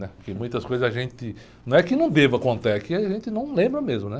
né? Porque muitas coisas a gente... Não é que não deva contar, é que a gente não lembra mesmo.